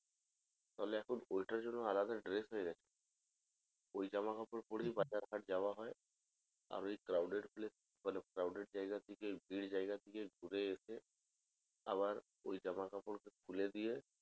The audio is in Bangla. তাহলে এখন ঐটার জন্য আলাদা dress হয়ে গেছে ওই জামা কাপড় পরেই বাজার ঘাট যাওয়া হয় আর ওই crowded place মানে crowded জায়গা থেকে ঘুরে এসে আবার ওই জামা কাপড় খুলে দিয়ে